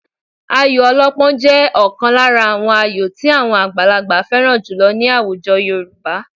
Ayò ọlọ́pọ́n jẹ́ ọ̀kan lára àwọn ayò tí àwọn àgbàlagbà fẹ́ràn jùlọ ní àwùjọ Yorùbá